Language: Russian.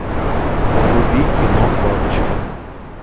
вруби кино бабочка